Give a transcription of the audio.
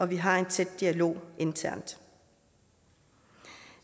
vi har en tæt dialog internt